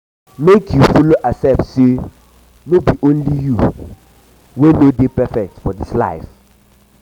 mek yu follow um accept say no be only yu wey no um dey um perfect for dis life